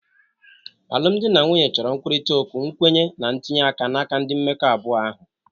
Alụmdi na nwunye chọrọ nkwurịta okwu, nkwenye, na ntinye aka n'aka ndị mmekọ abụọ ahụ.